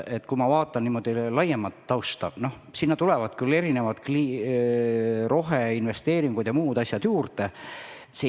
Aga kui vaadata laiemat tausta, siis sinna tulevad roheinvesteeringud jms juurde.